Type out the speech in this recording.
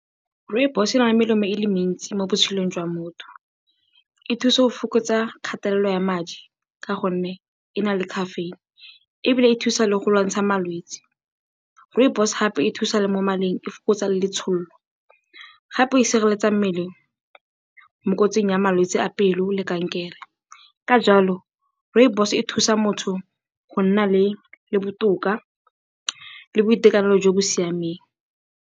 Rooibos e na le melemo e le mentsi mo botshelong jwa motho. E thusa go fokotsa kgatelelo ya madi ka gonne e na le caffeine ebile e thusa le go lwantsha malwetsi. Rooibos gape e thusa le mo maleng, e fokotsa le letshololo, gape e sireletsa mmele mo kotsing ya malwetse a pelo le kankere. Ka jalo, rooibos e thusa motho go nna botoka le boitekanelo jo bo siameng.